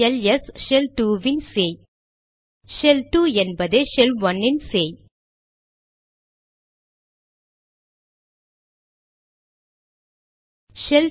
LS shell 2 இன் சேய் shell 2 என்பதே ஷெல்1 இன் சேய்